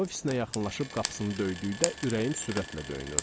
Ofisinə yaxınlaşıb qapısını döydükdə ürəyim sürətlə döyünürdü.